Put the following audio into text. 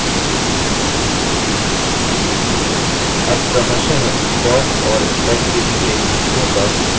अब क्रमशः cost और spent के नीचे घटकों का कुल जोड़ निकालें